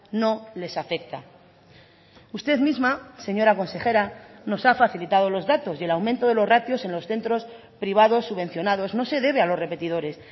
no les afecta usted misma señora consejera nos ha facilitado los datos y el aumento de los ratios en los centros privados subvencionados no se debe a los repetidores